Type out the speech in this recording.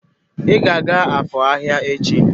Ị ga-aga Afor ahịa echi!